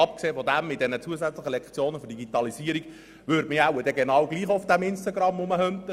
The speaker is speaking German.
Abgesehen davon würde man sich etwa in den zusätzlichen InformatikLektionen auch auf Instagram tummeln.